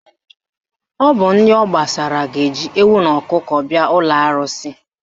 Ọ bụ ndị ọ gbasara ga-eji ewu na ọkụkọ bịa ụlọ arụsị